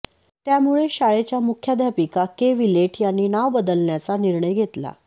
त्यामुळे शाळेच्या मुख्याध्यापिका के विलेट यांनी नाव बदलण्याचा निर्णय घेतला